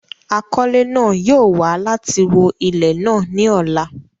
Àkọlẹ̀ náà yóò wa láti wọ ilẹ̀ náà ni ọ̀la.